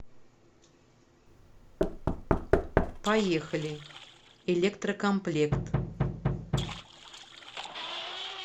поехали электрокомплект